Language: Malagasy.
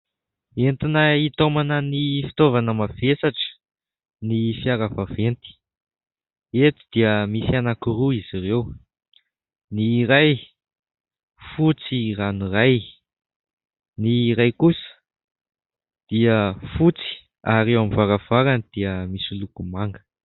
Entina hitaomana ny fitaovana mavesatra ny fiara vaventy. Eto dia misy anankiroa izy ireo : ny iray fotsy ranoray, ny iray kosa dia fotsy ; ary eo amin'ny varavarany dia misy loko manga.